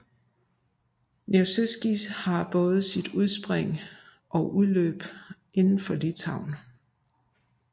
Nevėžis har både sit udspring og udløb indenfor i Litauen